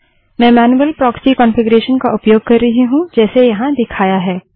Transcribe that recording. मैं manual proxy configuration का उपयोग कर रही हूँ जैसा यहाँ दिखाया है